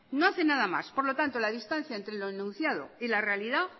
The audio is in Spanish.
no hace nada más por lo tanto la distancia entre lo enunciado y la realidad